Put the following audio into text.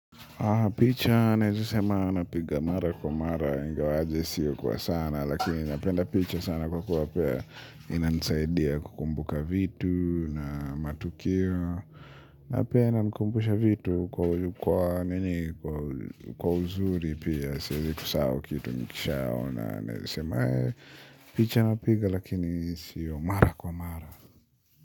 Picha naeza sema napiga mara kwa mara ingawaje siyo kwa sana lakini napenda picha sana kwa kuwapea inani saidia kukumbuka vitu na matukio. Na pia inanikumbusha vitu kwa nini kwa uzuri pia siwezi kusahau kitu nikishaona naweza sema eeh picha napiga lakini siyo mara kwa mara.